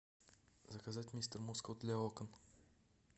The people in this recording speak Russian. заказать мистер мускул для окон